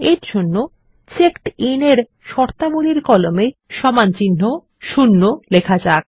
এরজন্য চেকডিন এর শর্তাবলীর কলামে সমানচিহ্ন ০ লেখা যাক